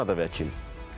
Kanada və Çin.